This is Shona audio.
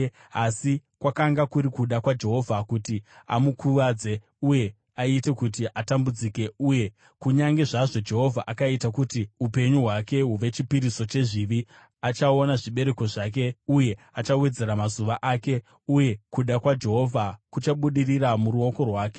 Asi kwakanga kuri kuda kwaJehovha kuti amukuvadze uye aite kuti atambudzike, uye kunyange zvazvo Jehovha akaita kuti upenyu hwake huve chipiriso chezvivi, achaona zvibereko zvake uye achawedzera mazuva ake, uye kuda kwaJehovha kuchabudirira muruoko rwake.